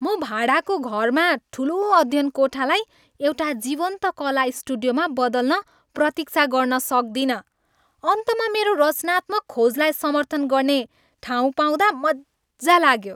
म भाडाको घरमा ठुलो अध्ययनकोठालाई एक जीवन्त कला स्टुडियोमा बदल्न प्रतिक्षा गर्न सक्दिन। अन्तमा मेरो रचनात्मक खोजलाई समर्थन गर्ने ठाउँ पाउँदा मज्जा लाग्यो।